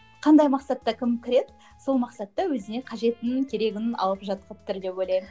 қандай мақсатта кім кіреді сол мақсатта өзіне қажетін керегін алып жатыр деп ойлаймын